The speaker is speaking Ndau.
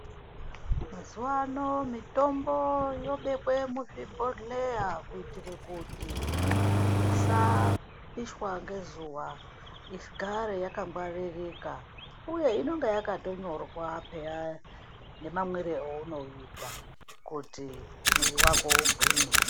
Mazuwa ano mitombo yobekwe muzvibhohleya kuitire kuti isapishwa ngezuwa igare yakangwaririka uye inonge yakatonyorwa peya nemamwire eunouita kuti mwiri wako ugwinye.